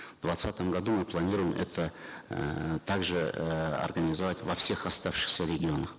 в двадцатом году мы планируем это эээ также э организовать во всех оставшихся регионах